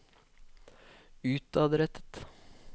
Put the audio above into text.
utadrettet